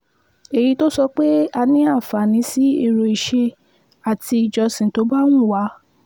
èyí tó sọ pé a ní àǹfààní sí èrò ìṣe àti ìjọsìn tó bá wù wá